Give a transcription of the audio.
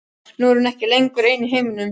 Nú er hún ekki lengur ein í heiminum.